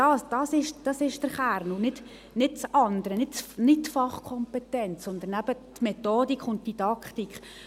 Darum geht es im Kern: nicht um die Fachkompetenz, sondern um die Methodik und die Didaktik.